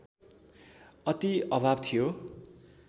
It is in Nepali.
अति अभाव थियो